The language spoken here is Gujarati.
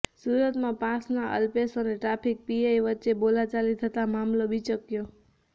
સુરતમાં પાસના અલ્પેશ અને ટ્રાફિક પીઆઈ વચ્ચે બોલાચાલી થતાં મામલો બિચક્યો